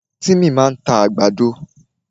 Tímì máa ta àgbàdo.